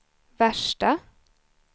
värsta